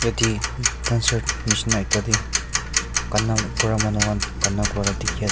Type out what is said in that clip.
yate concert nisna ekta teh kana kura manu khan kana kura dikhi as--